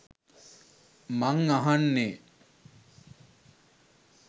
මං අහන්නේ